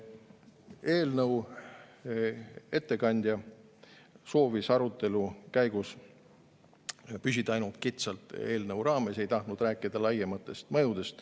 Eelnõu ettekandja soovis arutelu käigus püsida ainult kitsalt eelnõu raames, ei tahtnud rääkida laiemast mõjust.